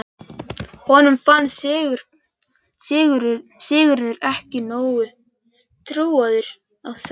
Honum fannst Sigurður ekki nógu trúaður á þau áform.